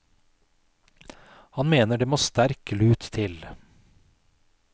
Han mener det nå må sterk lut til.